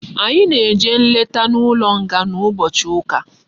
Anyi na eje nleta na ulo nga na ubochi uka